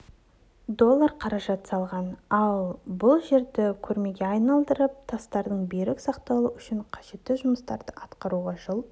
доллар қаражат салған ал бұл жерді көрмеге айналдырып тастардыңберік сақталуы үшін қажетті жұмыстарды атқаруға жыл